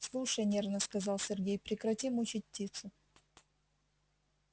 слушай нервно сказал сергей прекрати мучить птицу